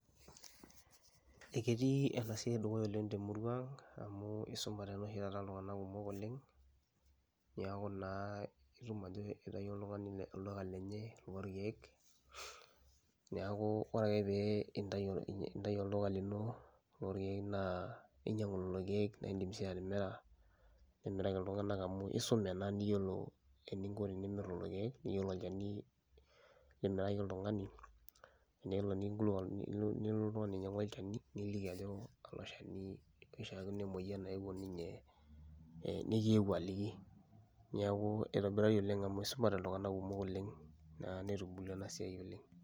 Ee ketii ena siai dukuya oleng' te murua ang' amu isumate naa oshi taata iltung'anak kumok oleng' neeku naa itum ajo itayio oltung'ani le olduka lenye loorkeek. Neeku ore ake pee intayu ii intayu olduka lino loorkeek naa inyang'u lelo keek naa iindim sii atimira nimiraki iltung'anak amu niyiolo eninko tenimir lelo keek, niyiolo olchani limiraki oltung'ani enelo neking'ulukuan ni nilo nelotu oltung'ani ainyang'u olchani niliki ajo alo shani ishaakino emoyian nayewuo ninye ee nekiyewuo aliki. Neeku itobirari oleng' amu isumate iltung'anak kumok oleng' naa netubulua ena siai oleng'.